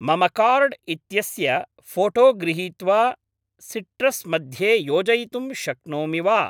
मम कार्ड् इत्यस्य फोटो गृहीत्वा सिट्रस् मध्ये योजयितुं शक्नोमि वा?